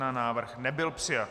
Návrh nebyl přijat.